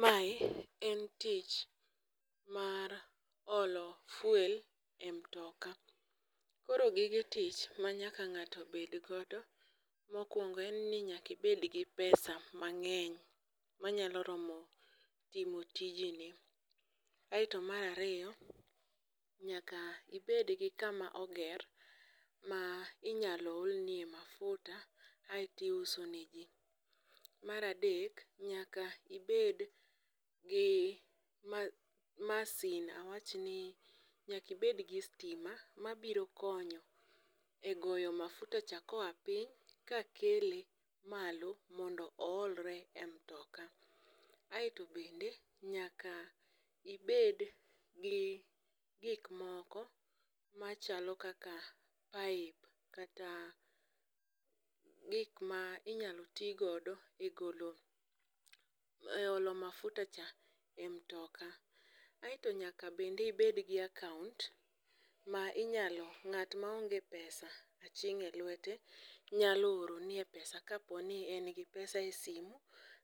Mae en tich mar olo fuel e mtoka, koro gige tich ma nyaka ng'ato bed godo mokwongo en ni nyaka ibed gi pesa mang'eny, manyalo romo timo tijni. Aeto mar ariyo nyaka ibed gi kama oger ma inyalo olnie mahuta aeto iuso ne ji. Mar adek nyaka ibed gi masin, awachni nyaka ibedgi stima mabiro konyo e goyo mafutacha koa piny kakele malo mondo oolre e mtoka. Aeto bende nyaka ibed gi gikmoko machalo kaka kata gik ma inyalo ti godo e golo, e olo mafutacha e mtoka. Aeto nyaka bende ibedgi account ma ,nga't ma onge pesa aching'e lwete, nyalo oroni e pesa kaponi en gi pesa e simu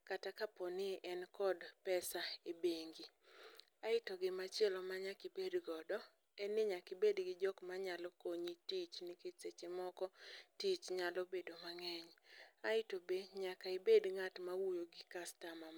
kata kaponi en kod pesa e bengi. Aeto gimachielo manyaka ibed godo. en ni nyaka ibed gi jok manyalo konyi tich nikech seche moko tich nyalo bedo mang'eny. Aeto be nyaka ibed ng'at mawuoyo gi customer